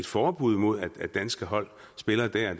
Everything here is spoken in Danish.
forbud mod at danske hold spiller der